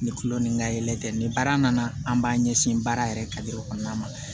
Ni kulo ni ka yɛlɛ tɛ ni baara nana an b'a ɲɛsin baara yɛrɛ ka kɔnɔna ma